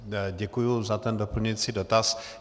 Děkuji za ten doplňující dotaz.